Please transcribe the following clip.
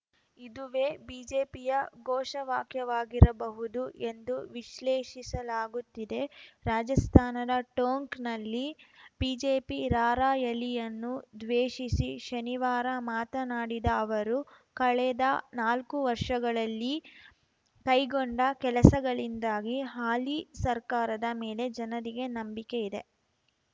ಇದುವೇ ಬಿಜೆಪಿಯ ಘೋಷವಾಕ್ಯವಾಗಿರಬಹುದು ಎಂದು ವಿಶ್ಲೇಷಿಸಲಾಗುತ್ತಿದೆ ರಾಜಸ್ಥಾನದ ಟೋಂಕ್‌ನಲ್ಲಿ ಬಿಜೆಪಿ ರಾರ‍ಯಲಿಯನ್ನುದ್ವೇಶಿಸಿ ಶನಿವಾರ ಮಾತನಾಡಿದ ಅವರು ಕಳೆದ ನಾಲ್ಕು ವರ್ಷಗಳಲ್ಲಿ ಕೈಗೊಂಡ ಕೆಲಸಗಳಿಂದಾಗಿ ಹಾಲಿ ಸರ್ಕಾರದ ಮೇಲೆ ಜನರಿಗೆ ನಂಬಿಕೆ ಇದೆ